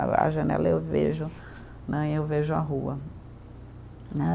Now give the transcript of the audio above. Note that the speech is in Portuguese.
A a janela eu vejo né, e eu vejo a rua né.